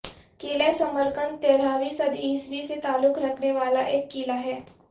قلعہ ثمرقندتیرہویں صدی عیسوی سے تعلق رکھنے والا ایک قلعہ ہے